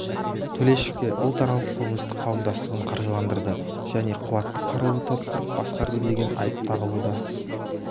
төлешовке ұлтаралық қылмыстық қауымдастығын қаржыландырды және қуатты қарулы топ құрып басқарды деген айып тағылуда